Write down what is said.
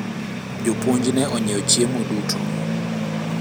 jopuonj ne onyiewo chiemo duto